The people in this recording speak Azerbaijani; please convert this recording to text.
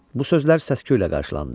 Bu sözlər səsküylə qarşılandı.